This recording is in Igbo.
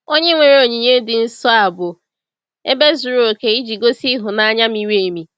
Onye-nwere onyinye dị nsọ a bụ ebe zuru oke iji gosi ịhụnanya miri emi.